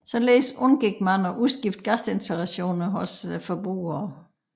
Således undgik man at udskifte gasinstallationer hos forbrugerne